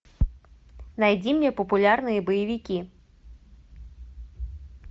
найди мне популярные боевики